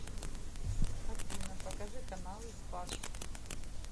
афина покажи каналы спас